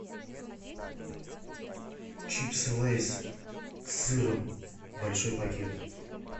чипсы лейс с сыром большой пакет